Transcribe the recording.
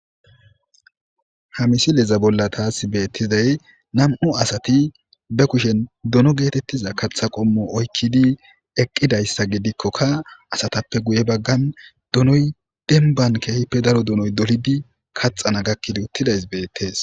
Hamisileza bolla taas beettizay nam'u asati be kushen dono geetettiza katha qommo oykkidi eqqidayssa gidikkokka asatappe guye baggan donoy denban keehippe daro donoy dolidi kaxana gakkidi uttidays beettees.